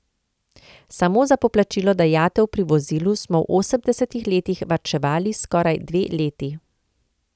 Samo za poplačilo dajatev pri vozilu smo v osemdesetih letih varčevali skoraj dve leti.